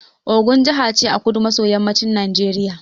Ogun jaha ce a kudu maso yammacin Najeriya